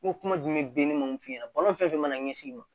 N ko kuma jumɛn benni ma mun f'i ɲɛna balo fɛn fɛn mana ɲɛsin i ma